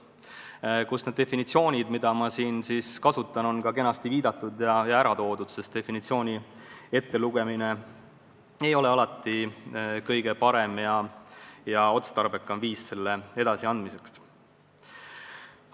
Selles on definitsioonid, mida ma siin kasutan, kenasti ära toodud – definitsioonide ettelugemine ei ole alati kõige parem ja otstarbekam viis nende edasiandmiseks.